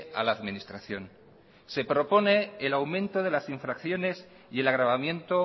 a la administración se propone el aumento de las infracciones y el agravamiento